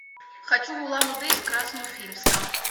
хочу в улан удэ из красноуфимска